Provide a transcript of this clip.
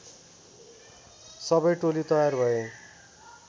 सबै टोली तयार भए